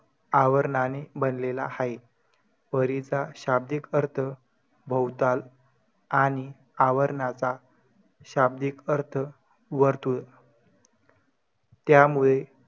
आवरणने बनलेला हाये. परीचा शाब्दिक अर्थ बहुताल आणि आवरणचा शाब्दिक अर्थ वर्तुळ त्यामुळे